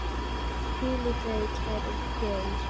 Hvíl í friði, kæri Geir.